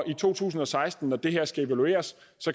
i to tusind og seksten når det her skal evalueres